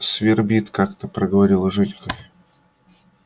свербит как-то проговорил женька